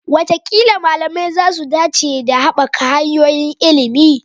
Wataƙila malamai za su dace da haɓaka hanyoyin ilimi.